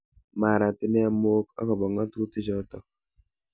Marat inne mok ak bo ngatutik choto.